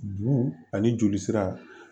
Bu ani jolisira